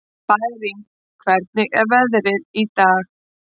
Bæring, hvernig er veðrið í dag?